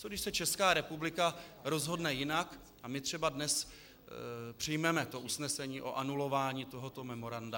Co když se Česká republika rozhodne jinak a my třeba dnes přijmeme to usnesení o anulování tohoto memoranda?